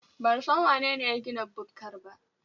Ban san wanene ya gina bukkar ba.